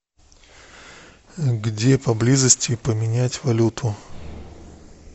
где поблизости поменять валюту